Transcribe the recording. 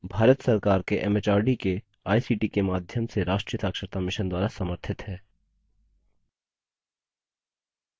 भारत सरकार के एमएचआरडी के आईसीटी के माध्यम से राष्ट्रीय साक्षरता mission द्वारा समर्थित है